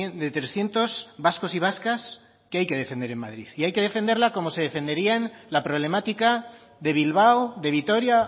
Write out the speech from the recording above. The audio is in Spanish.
de trescientos vascos y vascas que hay que defender en madrid y hay que defenderla como se defendería la problemática de bilbao de vitoria